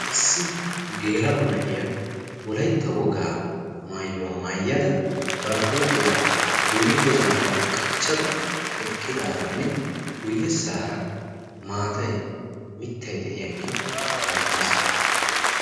Issi geela'o na'iya wolaytta wogaa maayuwaa maayyada bari huuphiyaa guyyekko zaara qachchada eqqidaaranne guyye saara maatay mittay de'iyaage beettees.